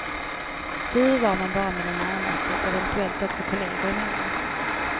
Du var man bara med de närmaste, eventuellt också kolleger emellan.